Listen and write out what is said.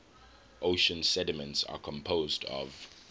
ocean sediments are composed of